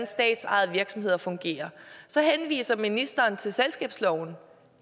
statsejede virksomheder fungerer så henviser ministeren til selskabsloven